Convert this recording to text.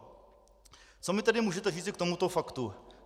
Co mi tedy můžete říci k tomuto faktu?